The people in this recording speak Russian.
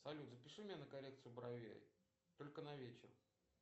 салют запиши меня на коррекцию бровей только на вечер